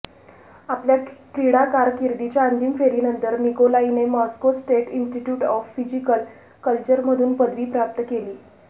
आपल्या क्रीडा कारकिर्दीच्या अंतिम फेरीनंतर निकोलाईने Moscow State Institute of Physical कल्चरमधून पदवी प्राप्त केली